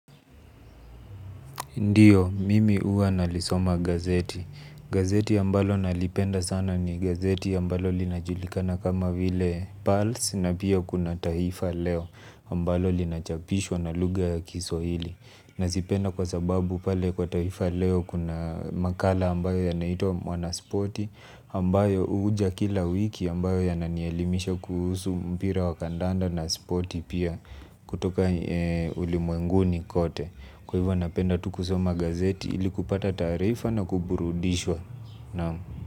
Ndiyo, mimi huwa nalisoma gazeti. Gazeti ambalo nalipenda sana ni gazeti ambalo linajulikana kama pulse na pia kuna taifa leo ambalo linachapishwa na lugha ya kiswahili. Nazipenda kwa sababu pale kwa taifa leo kuna makala ambayo yanaitwa mwana spoti ambayo huja kila wiki ambayo yananielimisha kuhusu mpira wa kandanda na spoti pia kutoka ulimwenguni kote. Kwa hivo napenda tu kusoma gazeti ili kupata taarifa na kuburudishwa.